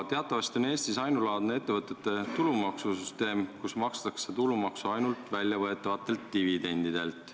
Teatavasti on Eestis ainulaadne ettevõtete tulumaksu süsteem: tulumaksu makstakse ainult väljavõetavatelt dividendidelt.